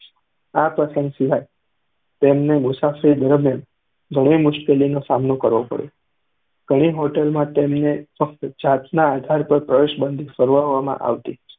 આ પ્રસંગ સિવાય પણ તેમને આ મુસાફરી દરમ્યાન ઘણી મુશ્કેલીનો સામનો કરવો પડ્યો. ઘણી હોટલમાં તેમને ફક્ત જાતના આધાર પર પ્રવેશબંધી ફરમાવવામાં આવતી.